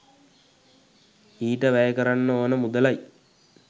ඊට වැය කරන්න ඕන මුදලයි